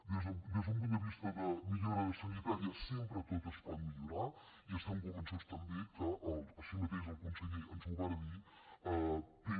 des d’un punt de vista de millora sanitària sempre tot es pot millorar i estem convençuts també que així mateix el conseller ens ho va dir té